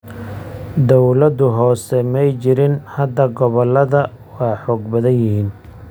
Dawlado hoose may jirin. Hadda gobolada waa xoog badan yihiin.